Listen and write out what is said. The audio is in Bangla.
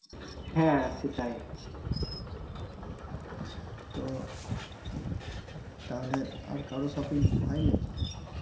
তো তাহলে আর কারো shopping হয়নি